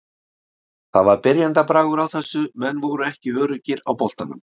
Það var byrjendabragur á þessu, menn voru ekki öruggir á boltanum.